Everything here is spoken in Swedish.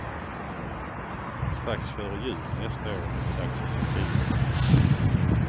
Strax före jul nästa år är det dags att flytta in.